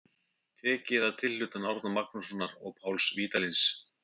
Tekið að tilhlutan Árna Magnússonar og Páls Vídalíns.